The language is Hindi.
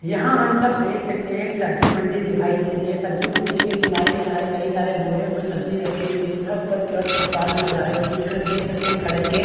यहाँ हम सब देख सकते है सब्जी मंडी दिखाई दे रही है सब्जी मंडी के किनारे-किनारे कई सारे बोरियों में सब्जी रखी हुई हैं तथा ऊपर की ओर तिरपाल नजर आ रही है बीच में देख सकते --